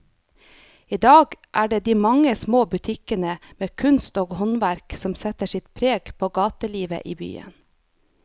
I dag er det de mange små butikkene med kunst og håndverk som setter sitt preg på gatelivet i byen.